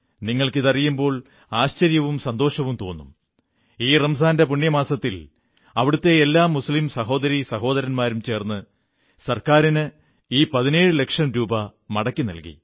നിങ്ങൾക്കിതറിയുമ്പോൾ ആശ്ചര്യവും സന്തോഷവും തോന്നും ഈ റംസാന്റെ പുണ്യമാസത്തിൽ അവിടത്തെ എല്ലാ മുസ്ലീം സഹോദരീ സഹോദരന്മാരും ചേർന്ന് ഗവൺമെന്റിന് ഈ 17 ലക്ഷം രൂപാ മടക്കി നല്കി